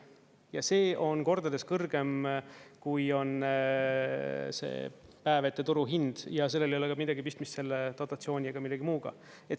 Ja see on kordades kõrgem, kui on see päev ette turuhind, ja sellel ei ole midagi pistmist selle dotatsiooni ega millegi muuga.